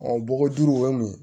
bɔgɔ duuru o ye mun ye